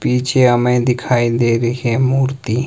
पीछे हमें दिखाई दे रही है मूर्ति।